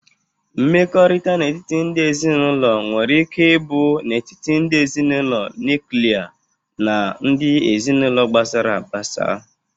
Mmekọrịta n'etiti ndị ezinaụlọ nwere ike ịbụ n'etiti ndị ezinaụlọ nuklia na ndị ezinaụlọ gbasara agbasa.